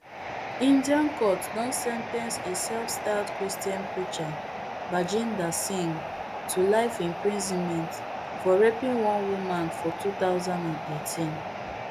indian court don sen ten ce a selfstyled christian preacher bajinder singh to life imprisonment for raping one woman for two thousand and eighteen